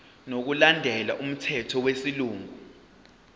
ngokulandela umthetho wesilungu